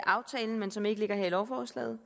aftalen men som ikke ligger her i lovforslaget